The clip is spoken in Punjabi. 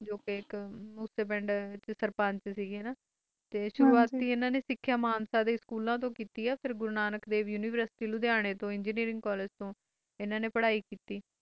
ਸੁਰਵਾਤ ਸਿੱਖਾਂ ਹਨ ਨੇ ਮਾਨਸੀ ਡੇ ਸਕੂਲ ਤੋਂ ਕੀਤੀ ਹੈ ਤੇ ਫਰ ਤੋਂ Guru Nanak Dev university engineering college, engineering college ਤੋਂ ਹਨ ਨੇ ਪਾਰਿ ਕੀਤੀ ਕੀਤੀ ਹੈ